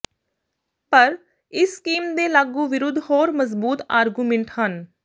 ਪਰ ਇਸ ਸਕੀਮ ਦੇ ਲਾਗੂ ਵਿਰੁੱਧ ਹੋਰ ਮਜ਼ਬੂਤ ਆਰਗੂਮਿੰਟ ਹਨ